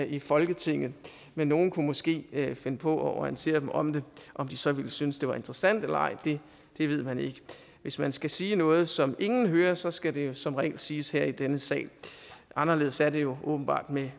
i folketinget men nogle kunne måske finde på at orientere dem om det om de så ville synes at det var interessant eller ej ved man ikke hvis man skal sige noget som ingen hører så skal det jo som regel siges her i denne sal anderledes er det jo åbenbart med